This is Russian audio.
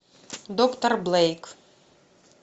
доктор блейк